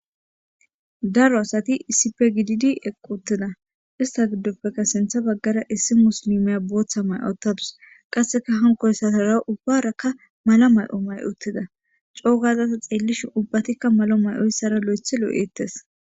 daro asati isipegididi equ uttida ista giddoppeka sintha baggara issi muslimeya booththa may7ottadus qasseka hankoyssasara ubbaraka mala may7o may7ottida coo gazasa xeellishin ubbatikka malo may7oyssara lo7ethi lo7eettes